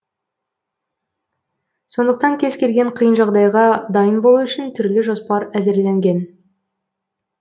сондықтан кез келген қиын жағдайға дайын болу үшін түрлі жоспар әзірленген